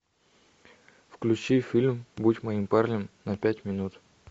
включи фильм будь моим парнем на пять минут